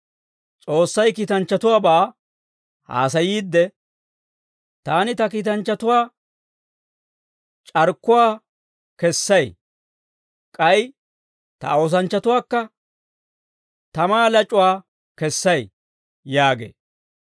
S'essay kiitanchchatuwaabaa haasayiidde, «Taani ta kiitanchchatuwaa c'arkkuwaa kessay; k'ay ta oosanchchatuwaakka tamaa lac'uwaa kessay» yaagee.